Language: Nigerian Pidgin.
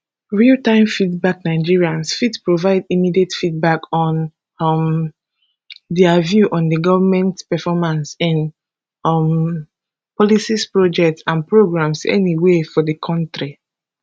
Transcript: realtime feedbacknigerians fit provide immediate feedback on um dia view on di goment performance in um policies projects and programs anywia for di kontri